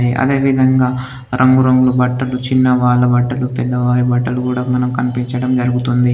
అదేవిధంగా రంగురంగు బట్టలు చిన్నవాళ్ళ బట్టలు పెద్దవారి బట్టలు కూడా మనకు కనిపించడం జరుగుతుంది.